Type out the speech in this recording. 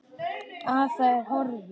Að það er horfið!